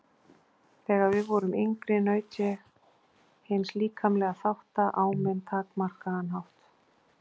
Þegar við vorum yngri naut ég hins líkamlega þáttar á minn takmarkaða hátt.